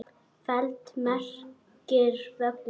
feld merkir völlur.